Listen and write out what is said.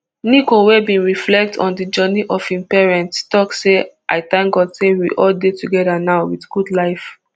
nico wey bin reflect on di journey of im parents tok say i tank god say we all dey togedanow wit good life